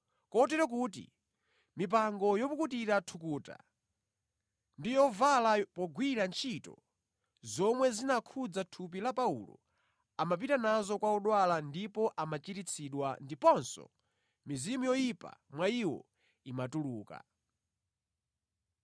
Kotero kuti mipango yopukutira thukuta ndi yovala pogwira ntchito, zomwe zinakhudza thupi la Paulo amapita nazo kwa odwala ndipo amachiritsidwa ndiponso mizimu yoyipa mwa iwo imatuluka.